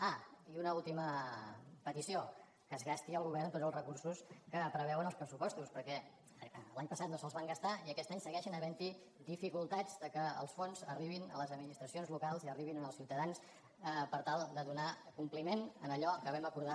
ah i una ultima petició que es gasti el govern tots els recursos que preveuen els pressupostos perquè l’any passat no se’ls van gastar i aquest any segueixen havent hi dificultats perquè els fons arribin a les administracions locals i arribin als ciutadans per tal de donar compliment a allò que vam acordar